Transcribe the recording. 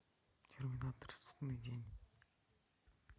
терминатор судный день